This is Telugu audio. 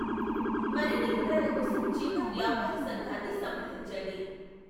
మరిన్ని వివరాల కోసం చిన్న వ్యాపార సంఘాన్ని సంప్రదించండి.